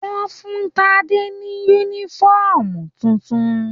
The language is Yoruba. Wọ́n fún Tade ní yúnífọ̀ọ́mù títún.